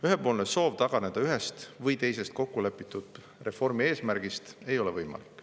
Ühepoolne soov taganeda ühest või teisest kokku lepitud reformi eesmärgist ei ole võimalik.